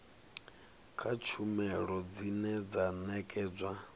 kha tshumelo dzine dza nekedzwa